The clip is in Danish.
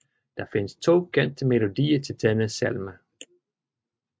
Der findes 2 kendte melodier til denne salme